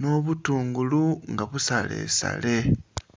n'obutungulu nga busalesale.